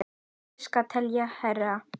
Ég elska að tefla hérna.